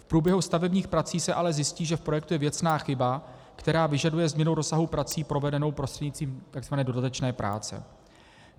V průběhu stavebních prací se ale zjistí, že v projektu je věcná chyba, která vyžaduje změnu rozsahu prací provedenou prostřednictvím takzvané dodatečné práce.